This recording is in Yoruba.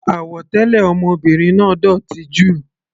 Àwọ̀ tẹlẹ ọmọbìnrin náà dótì jù.